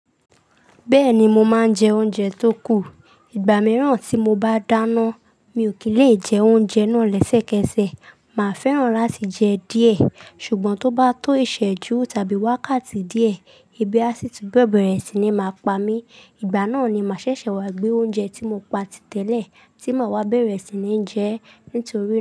Bẹ́ẹ̀ni mo máa ń jẹ oúnjẹ tó kù. Ìgbà mìíràn tí mo bá dáná, mi ò kí ń lè jẹ oúnjẹ náà lẹ́sẹ̀kẹsẹ̀. Màá fẹ́ràn láti jẹ díẹ̀, ṣùgbọ́n tó bá tó ìsẹ́jú tàbí wákàtí díẹ̀, ebi á sì tú bẹ̀rẹ̀ sí ní máa pa mí. Ìgbà náà ni màá ṣẹ̀ṣẹ̀ wá gbé oúnjẹ tí mo pa tí tẹ́lẹ̀ tí má wa bẹ̀rẹ̀ sí ní jẹ ẹ́ nítorí.